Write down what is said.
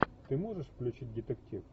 ты можешь включить детектив